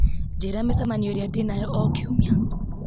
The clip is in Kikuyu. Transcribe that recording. njĩra mĩcemanio ĩrĩa ndĩnayo o kiumia